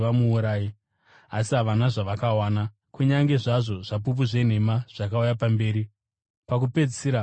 Asi havana zvavakawana, kunyange zvazvo zvapupu zvenhema zvakauya pamberi. Pakupedzisira, vaviri vakauya